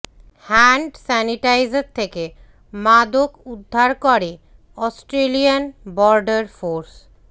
hand sanitiser থেকে মাদক উদ্ধার করে অস্ট্রেলিয়ান বর্ডার ফোর্স